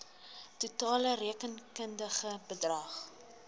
totale rekenkundige bedrag